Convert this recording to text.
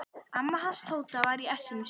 Amma hans Tóta var í essinu sínu.